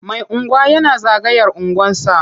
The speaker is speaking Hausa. Mai unguwa yana zagaya unguwarsa.